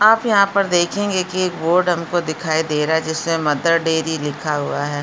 आप यहाँ पर देखेंगे कि एक बोर्ड हमको दिखाई दे रहा है जिसमें मदर डेरी लिखा हुआ है।